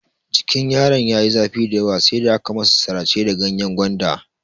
Jikin yaron ya yi zafi dayawa sai da aka masa sirace da ganyen gwanda.